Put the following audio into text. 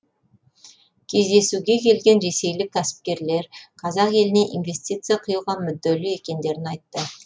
кездесуге келген ресейлік кәсіпкерлер қазақ еліне инвестиция құюға мүдделі екендерін айтты